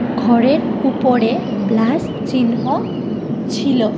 ঘরের উপরে প্লাস চিহ্ন ছিল।